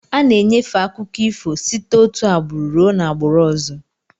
Ana-enyefe akụkọ ifo site òtù agbụrụ ruo n'agbụrụ ọzọ.